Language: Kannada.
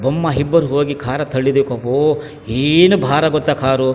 ಬೊಮ್ಮ ಹಿಬ್ಬರು ಹೋಗಿ ಕಾರ್ ತಳ್ಳಿದಕ್ ಓ ಏನ್ ಬಾರ ಗೊತ್ತಾ ಕಾರು .